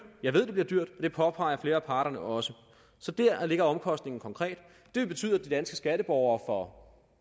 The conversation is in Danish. jeg ved det bliver dyrt og det påpeger flere af parterne også så der ligger omkostningen konkret det vil betyde at de danske skatteborgere